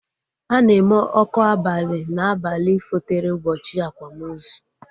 Ana eme ọkụ abali na abalị fotere ụbọchị akwamozu